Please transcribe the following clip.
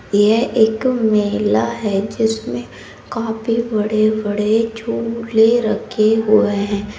ये एक मेला है जिसमें काफी बड़े-बड़े रखे हुए हैं।